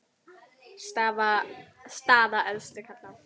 Staða efstu karla